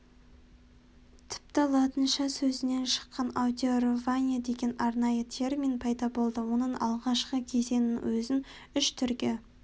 тіпті латынша сөзінен шыққан аудирование деген арнайы термин пайда болды оның алғашқы кезеңінің өзін үш түрге